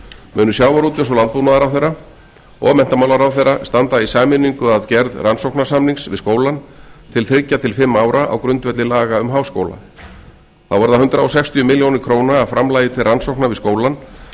munu sjávarútvegs og landbúnaðarráðherra og menntmálaráðherra standa í sameiningu að gerð rannsóknarsamnings við skólann til þriggja til fimm ára á grundvelli laga um háskóla þá verða hundrað sextíu milljónir króna af framlagi til rannsókna við skólann